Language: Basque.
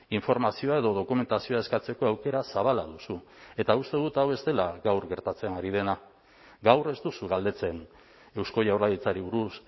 informazioa edo dokumentazioa eskatzeko aukera zabala duzu eta uste dut hau ez dela gaur gertatzen ari dena gaur ez duzu galdetzen eusko jaurlaritzari buruz